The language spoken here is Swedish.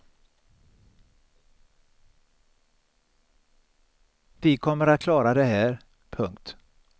Vi kommer att klara det här. punkt